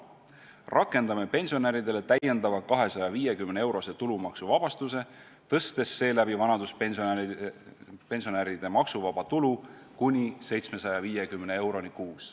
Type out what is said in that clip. Rakendame pensionäridele täiendava 250-eurose tulumaksuvabastuse, tõstes seeläbi vanaduspensionäride maksuvaba tulu kuni 750 euroni kuus.